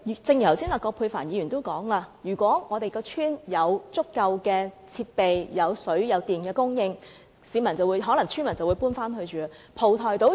正如葛珮帆議員剛才說，如果鄉村有足夠的設備，以及有水電供應，村民便可能會搬回去居住。